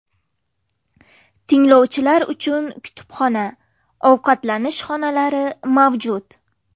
Tinglovchilar uchun kutubxona, ovqatlanish xonalari mavjud.